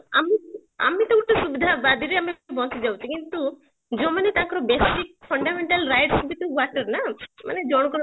ଆମେକୁ ଆମେ ତ ସୁବିଧା ଆବାଦୀ ରେ ବସି ଯାଉଛେ କି ଆମେ କିନ୍ତୁ ଯୋଉମାନେ ତାଙ୍କର basic fundamental right's ବି ତ water ନା ମାନେ ଜଣଙ୍କର